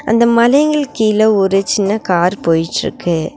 அந்த மலைங்களுக்கு கீழ ஒரு சின்ன கார் போய்ட்டுருக்கு.